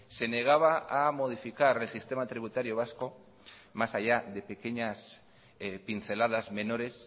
se negaba a modificar el sistema tributario vasco más allá de pequeñas pinceladas menores